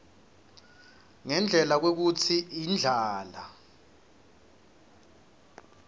ngendlela kwekutsi indlala